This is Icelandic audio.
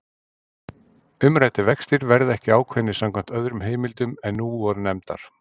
Umræddir vextir verða ekki ákveðnir samkvæmt öðrum heimildum en nú voru nefndar.